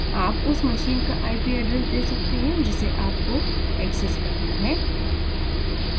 आप उस machine का ip address दे सकते हैं जिसे आपको access करना है